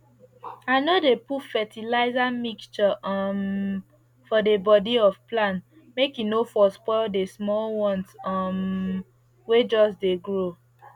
i no dey put fetilizer mixture um for the body of plant make e for no spoil the small ones um wey just dey grow